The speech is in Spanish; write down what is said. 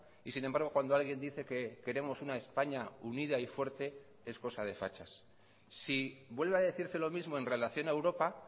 y sin embargo cuando alguien dice que queremos una españa unida y fuerte es cosa de fachas si vuelve a decirse lo mismo en relación a europa